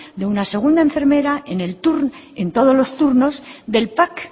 de una segunda enfermera en el turno en todos los turnos del pac